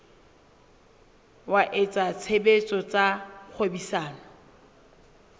wa etsa tshebetso tsa kgwebisano